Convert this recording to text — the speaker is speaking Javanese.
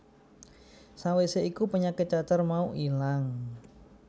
Sawise iku penyakit cacar mau ilang